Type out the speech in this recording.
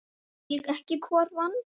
Segi ekki hvor vann.